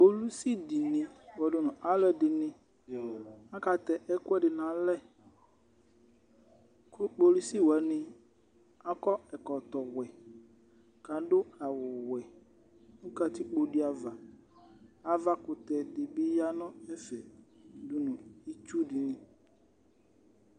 Kpolusi dɩnɩ kpɔdʋ nʋ alʋɛdɩnɩ akatɛ ɛkʋɛdɩ nʋ alɛ kʋ kpolusi wanɩ akɔ ɛkɔtɔwɛ kʋ adʋ awʋwɛ nʋ katikpo dɩ ava Avakʋtɛ dɩ bɩ ya nʋ ɛfɛ dʋ nʋ itsu dɩnɩ